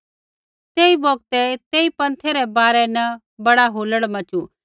तेई बौगतै तेई पन्थै रै बारै न बड़ा हुलड़ मच़ू